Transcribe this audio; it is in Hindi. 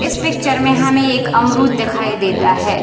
इस पिक्चर मे हमे एक अमरुद दिखाई देता है।